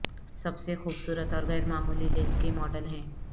سب سے خوبصورت اور غیر معمولی لیس کے ماڈل ہیں